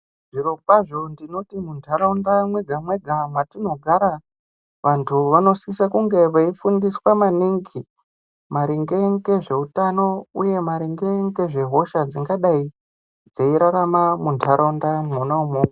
Zvirokwazvo tinoti muntaraunda mwega mwega mwetinogara, vantu vanosisa kunge veifundiswa maningi maringe ngezveutano uye maringe ngezvehosha dzingadai dzeirarama muntaraunda mwona imwomwo.